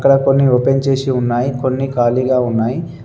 అక్కడ కొన్ని ఓపెన్ చేసి ఉన్నాయ్ కొన్ని ఖాళీగా ఉన్నాయ్.